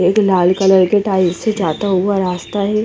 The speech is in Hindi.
एक लाल कलर की टाइल्स से जाता हुआ रास्ता है।